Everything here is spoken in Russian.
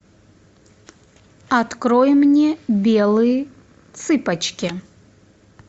открой мне белые цыпочки